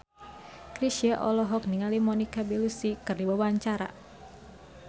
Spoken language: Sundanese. Chrisye olohok ningali Monica Belluci keur diwawancara